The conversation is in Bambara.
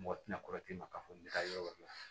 Mɔgɔ tɛna kɔrɔsi ma k'a fɔ ne ka yɔrɔ la